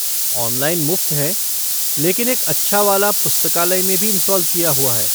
Online मुफ़्त हैं, लेकिन एक अच्छा वाला पुस्तकालय में भी इंस्टॉल किया हुआ है।